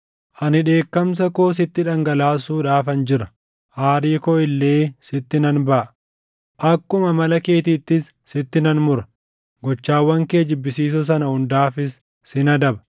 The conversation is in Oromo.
Ani dheekkamsa koo sitti dhangalaasuudhaafan jira; aarii koo illee sitti nan baʼa; akkuma amala keetiittis sitti nan mura; gochaawwan kee jibbisiisoo sana hundaafis sin adaba.